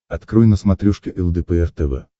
открой на смотрешке лдпр тв